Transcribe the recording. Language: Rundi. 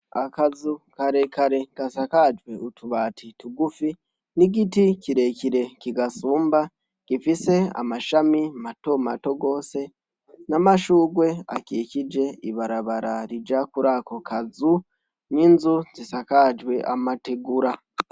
Akazu kare kare gasakajwe utubati tugufi, n’igiti kire kire kigasumba gifise amashami mato mato gose, n’amashurwe akikiije ibarabara rija kuri ako kazu, n’inzu zisakajwe amategura.